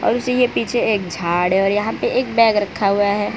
और इसी के पीछे एकझाड़ है और यहां पे एक बैग रखा हुआ है।